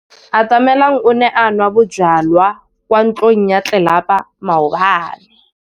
Atamelang o ne a nwa bojwala kwa ntlong ya tlelapa maobane.